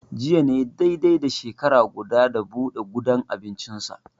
Jiya ne dai dai da shekara guda, da buɗe gudan abincinsa.